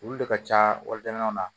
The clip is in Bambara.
Olu de ka ca wala wali jamanaw la